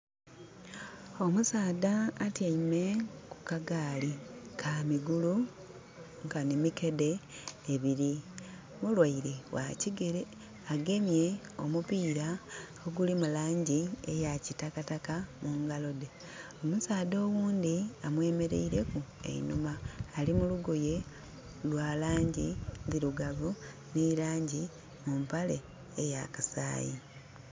Omusaadha atyaime ku kagaali, kamigulu nkanhi mikedhe ebiri. Mulwaile ghakigere, agemye omupira ogulimu langi eya kitakataka mu ngalodhe. Omusaadha oghundhi amweraileku einhuma. Ali mu lugoye lwalangi ndhirugavu nhi langi mu mpale eya kasayi.